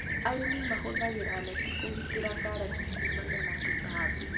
Arĩmi mahũthagĩra neti kũgitĩra karati kumana na tũtambi.